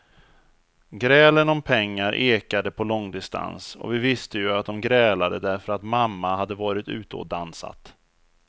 Grälen om pengar ekade på långdistans och vi visste ju att dom grälade därför att mamma hade varit ute och dansat.